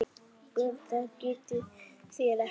BJÖRN: Það getið þér ekki.